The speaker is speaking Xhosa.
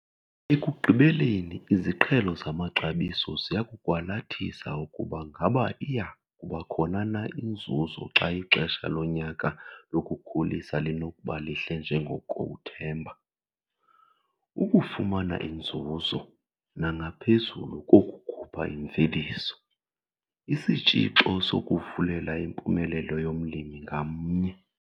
Ekugqibeleni iziqhelo zamaxabiso ziya kukwalathisa ukuba ngaba iya kuba khona na inzuzo xa ixesha lonyaka lokukhulisa linokuba lihle njengoko uthemba. Ukufumana inzuzo, nangaphezu kokukhupha imveliso, sisitshixo sokuvulela impumelelo yomlimi ngamnye.